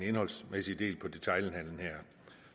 indholdsmæssige del af detailhandelen